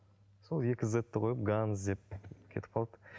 сол екі зетті қойып ганзз деп кетіп қалды